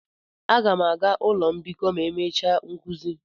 Aga m aga ụlọ mbikọ ma emechaa nkuzi.